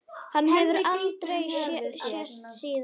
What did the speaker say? Hann hefur aldrei sést síðan.